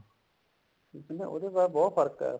ਕਹਿੰਦੇ ਉਹਦੇ ਨਾਲ ਬਹੁਤ ਫਰਕ ਹੈ